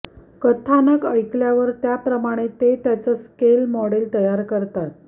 कथानक ऐकल्यावर त्याप्रमाणे ते त्याचं एक स्केल मॉडेल तयार करतात